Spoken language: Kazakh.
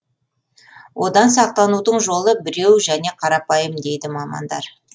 одан сақтанудың жолы біреу және қарапайым дейді мамандар